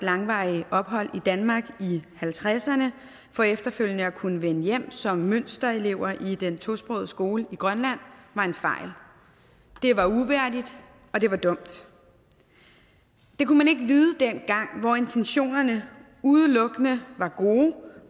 langvarige ophold i danmark af nitten halvtredserne for efterfølgende at kunne vende hjem som mønsterelever i den tosprogede skole i grønland var en fejl det var uværdigt og det var dumt det kunne man ikke vide dengang hvor intentionerne udelukkende var gode